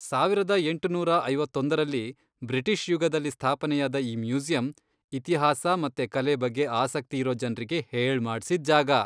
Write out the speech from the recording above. ಸಾವಿರದ ಎಂಟುನೂರ ಐವತ್ತೊಂದರಲ್ಲಿ, ಬ್ರಿಟಿಷ್ ಯುಗದಲ್ಲಿ ಸ್ಥಾಪನೆಯಾದ ಈ ಮ್ಯೂಸಿಯಂ, ಇತಿಹಾಸ ಮತ್ತೆ ಕಲೆ ಬಗ್ಗೆ ಆಸಕ್ತಿ ಇರೋ ಜನ್ರಿಗೆ ಹೇಳ್ಮಾಡ್ಸಿದ್ ಜಾಗ.